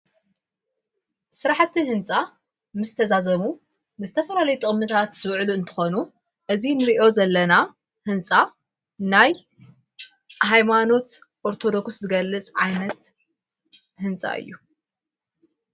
ሥራሕቲ ሕንጻ ምስ ተዛዘሙ ንስተፈራለይ ጠምታት ዘውዕሉ እንተኾኑ እዝ ንርእዮ ዘለና ሕንፃ ናይ ኃይማኖት ኦርተዶኩስ ዝገልጽ ዓይነት ሕንፃ እዩ።